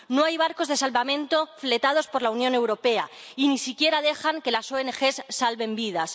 No hay barcos de salvamento fletados por la Unión Europea y ni siquiera dejan que las ONG salven vidas.